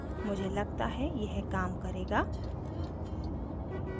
मुझे लगता है यह काम करेगा